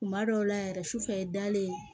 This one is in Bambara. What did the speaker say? Kuma dɔw la yɛrɛ sufɛ dalen